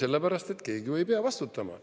Sellepärast, et keegi ju ei pea vastutama.